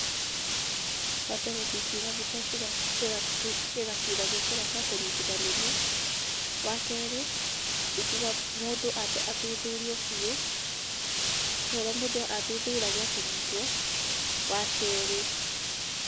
Wambere ndingiuga mbica cĩgacuragio kũrĩa gwa kũnyitithanĩrio. wakerĩ, ingiuga mũndũ ambe athuthurio biũ ta ũrĩa mũndũ athuthuragio akĩnyitwo, wakerĩ.